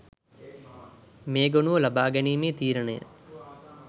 මේ ගොනුව ලබා ගැනීමේ තීරණය